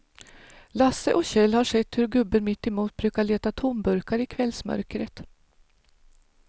Lasse och Kjell har sett hur gubben mittemot brukar leta tomburkar i kvällsmörkret.